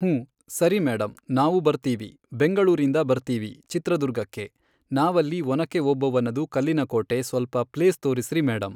ಹೂಂ ಸರಿ ಮೇಡಮ್ ನಾವು ಬರ್ತೀವಿ ಬೆಂಗಳೂರಿಂದ ಬರ್ತೀವಿ ಚಿತ್ರದುರ್ಗಕ್ಕೆ ನಾವಲ್ಲಿ ಒನಕ್ಕೆ ಓಬವ್ವನದು ಕಲ್ಲಿನಕೋಟೆ ಸ್ವಲ್ಪ ಪ್ಲೇಸ್ ತೋರಿಸ್ರೀ ಮೇಡಮ್.